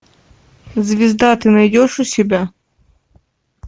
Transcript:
звезда ты найдешь у себя